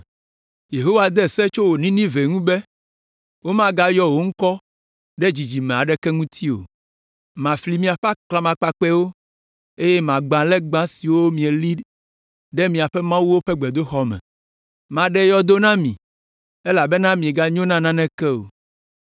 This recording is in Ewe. Yehowa de se tso wò Ninive ŋuti be: “Womayɔ wò ŋkɔ ɖe dzidzime aɖeke ŋuti o. Mafli miaƒe aklamakpakpɛwo, eye magbã legba siwo mieli ɖe miaƒe mawuwo ƒe gbedoxɔ me. Maɖe yɔdo na mi, elabena mieganyo na naneke o.”